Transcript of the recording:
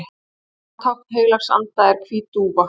annað tákn heilags anda er hvít dúfa